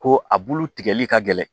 Ko a bulu tigɛli ka gɛlɛn